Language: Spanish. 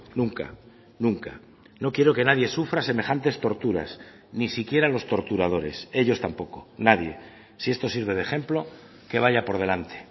nunca nunca no quiero que nadie sufra semejantes torturas ni siquiera los torturadores ellos tampoco nadie si esto sirve de ejemplo que vaya por delante